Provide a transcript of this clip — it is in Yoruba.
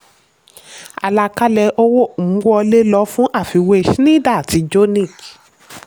àlàkalẹ̀ owó um wọlé lò fún àfiwé schneider àti jonick.